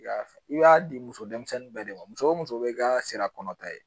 I y'a i b'a di muso denmisɛnnin bɛɛ de ma muso o muso bɛ i ka sira kɔnɔ ta ye